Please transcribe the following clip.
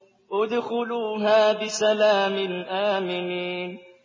ادْخُلُوهَا بِسَلَامٍ آمِنِينَ